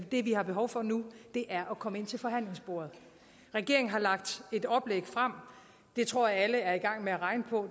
det vi har behov for nu er at komme ind til forhandlingsbordet regeringen har lagt et oplæg frem og det tror jeg alle er i gang med at regne på